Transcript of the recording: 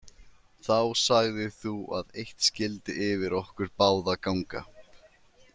Þá sagðir þú að eitt skyldi yfir okkur báða ganga.